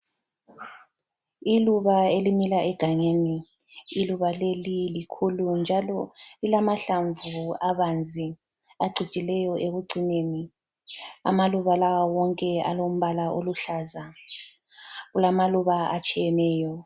Iluba elimila egangeni. Iluba leli likhulu njalo lilamahlamvu abanzi acijileyo ekucineni. Amaluba lawa wonke alombala oluhlaza. Kulamaluba atshiyeneyo.